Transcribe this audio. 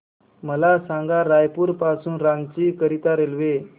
मला सांगा रायपुर पासून रांची करीता रेल्वे